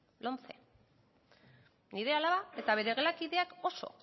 lomce nire alaba eta bere gelakideak oso